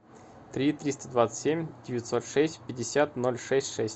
три триста двадцать семь девятьсот шесть пятьдесят ноль шесть шесть